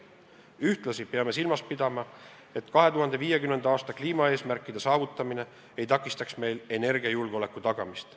Ühtlasi peame silmas pidama, et 2050. aasta kliimaeesmärkide saavutamine ei takistaks meil energiajulgeoleku tagamist.